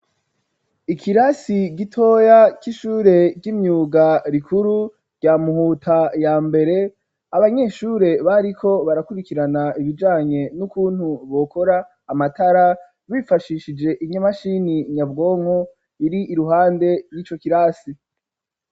Ikirasi ,gitoya, c'ishure ry'imyuga rikuru, ryamuhuta ya mbere, Abanyeshure bariko barakurikirana, ibijanye, n'ukuntu, bokora Amatara ,bifashishije inyamashini nyabwonko, iri iruhande ry'ico kirasi.